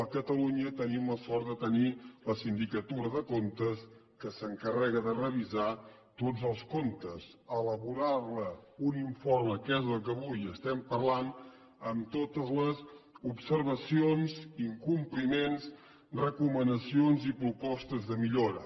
a catalunya tenim la sort de tenir la sindicatura de comptes que s’encarrega de revisar tots els comptes elaborar ne un informe que és del que avui estem parlant amb totes les observacions incompliments recomanacions i propostes de millora